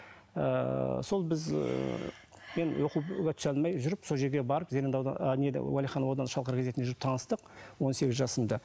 ыыы сол біз ыыы мен оқуға түсе алмай жүріп сол жерге барып уалиханов ауданы шалқар газетінде жүріп таныстық он сегіз жасымда